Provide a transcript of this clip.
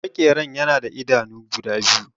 Makeran yana da idanu biyu